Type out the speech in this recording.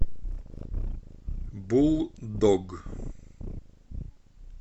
буллдог